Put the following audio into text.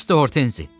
Bəsdir Hortenzi!